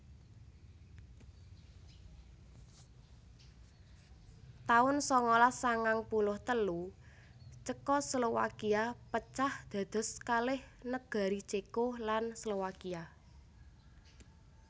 taun sangalas sangang puluh telu Cekoslowakia pecah dados kalih negari Ceko lan Slowakia